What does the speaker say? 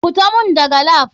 FITA mun dagan lap.